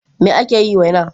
Me ake yi waina?